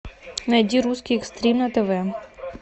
найди русский экстрим на тв